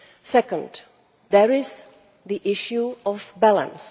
Second, there is the issue of balance.